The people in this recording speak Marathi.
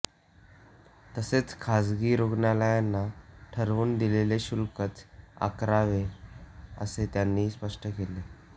तसेच खासगी रुग्णालयांना ठरवून दिलेले शुल्कच आकारावे असे त्यांनी स्पष्ट केले